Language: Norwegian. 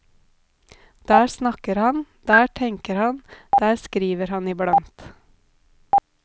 Der snakker han, der tenker han, der skriver han iblant.